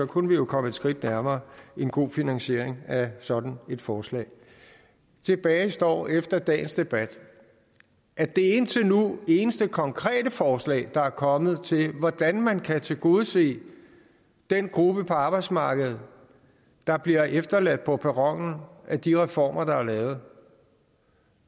kunne vi jo komme et skridt nærmere en god finansiering af sådan et forslag tilbage står efter dagens debat at det indtil nu eneste konkrete forslag der er kommet til hvordan man kan tilgodese den gruppe på arbejdsmarkedet der bliver efterladt på perronen af de reformer der lavet